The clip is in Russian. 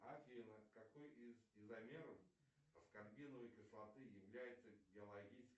афина какой из изомеров аскорбиновой кислоты является